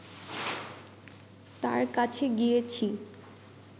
তাঁর কাছে গিয়েছি